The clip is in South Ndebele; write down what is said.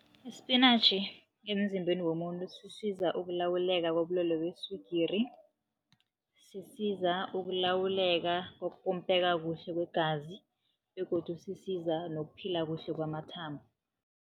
Isipinatjhi emzimbeni womuntu sisiza ukulawuleka kobulwelwe beswigiri, sisiza ukulawuleka kokupompeka kuhle kwegazi begodu sisiza nokuphila kuhle kwamathambo.